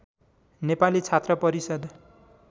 नेपाली छात्र परिषद्